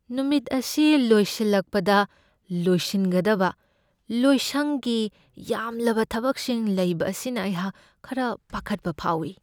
ꯅꯨꯃꯤꯠ ꯑꯁꯤ ꯂꯣꯏꯁꯤꯜꯂꯛꯄꯗ ꯂꯣꯏꯁꯤꯟꯒꯗꯕ ꯂꯣꯏꯁꯪꯒꯤ ꯌꯥꯝꯂꯕ ꯊꯕꯛꯁꯤꯡ ꯂꯩꯕ ꯑꯁꯤꯅ ꯑꯩꯍꯥꯛ ꯈꯔ ꯄꯥꯈꯠꯄ ꯐꯥꯎꯢ ꯫